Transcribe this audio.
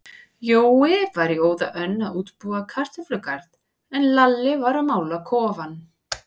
Jói var í óða önn að útbúa kartöflugarð, en Lalli var að mála kofann.